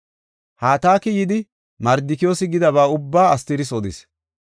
Hataki yidi, Mardikiyoosi gidaba ubbaa Astiris odis.